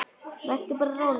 Vertu bara róleg.